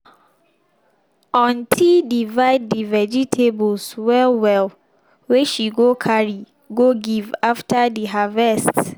auntie divide de vegetables well well wey she go carry go give after de harvest.